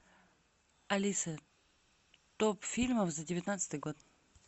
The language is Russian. алиса топ фильмов за девятнадцатый год